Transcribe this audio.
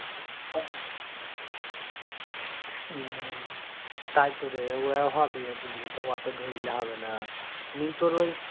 হম তাই তো রে ওয়ে হবে বুঝলি তো অত ধরলে হবে না. নিয়ে তোর ওই